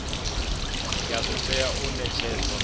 ya do tea u netshedzwa